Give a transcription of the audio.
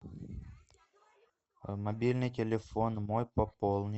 мобильный телефон мой пополни